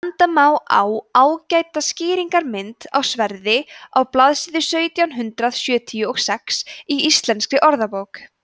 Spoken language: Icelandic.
benda má á ágæta skýringarmynd af sverði á blaðsíða sautján hundrað sjötíu og sex í íslenskri orðabók